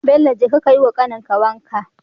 Bello jeka kayi wa kanin ka wanka